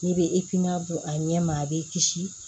N'i bɛ don a ɲɛ ma a b'i kisi